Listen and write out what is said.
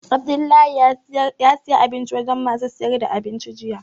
Abdullahi ya saya abinci wajen masu sayar da abinci jiya